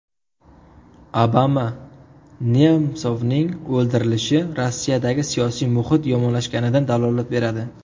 Obama: Nemsovning o‘ldirilishi Rossiyadagi siyosiy muhit yomonlashganidan dalolat beradi.